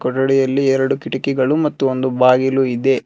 ಕೊಠಡಿಯಲ್ಲಿ ಎರಡು ಕಿಟಕಿಗಳು ಮತ್ತು ಒಂದು ಬಾಗಿಲು ಇದೆ.